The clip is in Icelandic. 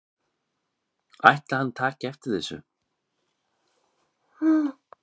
Ætli hann taki eftir þessu?